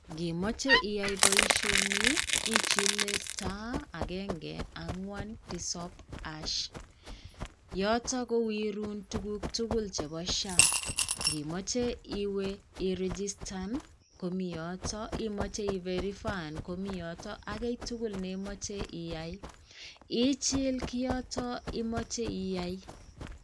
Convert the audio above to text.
Ngimoche iyai boisioni, ichile * agenge, angwan, tisap #. Yoton kowirun tuguk tugul chepo SHA. Ngimoche iwe iregistan komi yoto, imoche iverifaen komi yoton, ak kiy tugul neimoche iyai, ichil kiyoto imoche iyai.